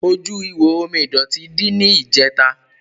Ojú ihò omi ìdọ̀tí dí ní ìjẹ̀ta.